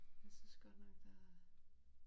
Jeg synes godt der